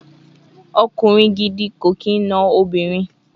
Okunrin gidi ko kin no obinrin